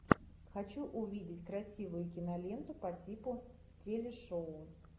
хочу увидеть красивую киноленту по типу телешоу